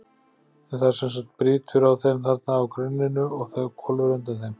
En það sem sagt brýtur á þeim þarna á grunninu og hvolfir undir þeim.